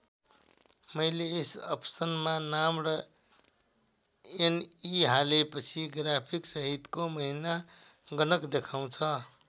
मैले यस अप्सनमा नाम र एनई हालेपछि ग्राफसहितको महिना गणक देखाउँछ।